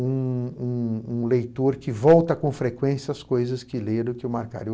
Um um um leitor que volta com frequência às coisas que leram e que o marcaram.